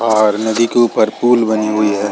और नदी के ऊपर पूल बनी हुई है।